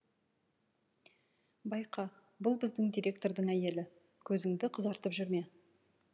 байқа бұл біздің директордың әйелі көзіңді қызартып жүрме